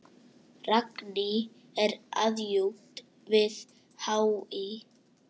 Ragný er aðjunkt við HÍ.